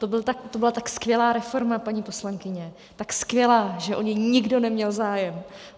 To byla tak skvělá reforma, paní poslankyně, tak skvělá, že o ni nikdo neměl zájem.